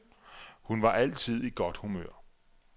Hun var altid i godt humør.